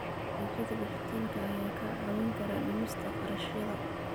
Adeegyada dijitaalka ah ayaa kaa caawin kara dhimista kharashyada.